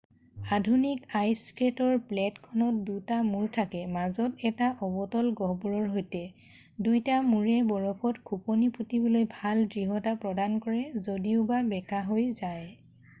আধুনিক আইছ স্কেটৰ ব্লেডখনত দুটা মূৰ থাকে মাজত এটা অৱতল গহ্বৰৰ সৈতে দুইটা মূৰে বৰফত খোপনি পোটিবলৈ ভাল দৃঢ়তা প্ৰদান কৰে যদিওবা বেকাহৈ যায়